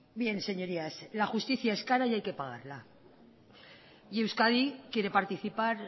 bien señorías la justicia es cara y hay que pagarla y euskadi quiere participar